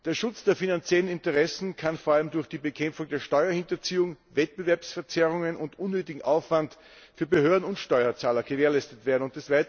Der Schutz der finanziellen Interessen kann vor allem durch die Bekämpfung der Steuerhinterziehung, Wettbewerbsverzerrungen und unnötigen Aufwand für Behörden und Steuerzahler gewährleistet werden.